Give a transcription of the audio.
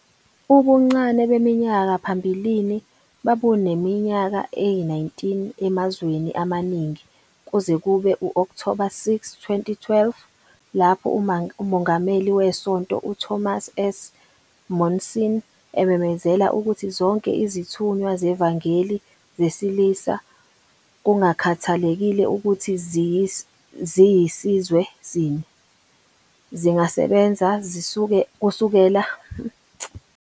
Ubuncane beminyaka phambilini babuneminyaka eyi-19 emazweni amaningi kuze kube u-Okthoba 6, 2012, lapho uMongameli weSonto uThomas S. Monson ememezela ukuthi zonke izithunywa zevangeli zesilisa, kungakhathalekile ukuthi ziyisizwe sini, zingasebenza zisukela eminyakeni eyi-18.